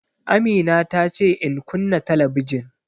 Amina ta ce in kunna talabijin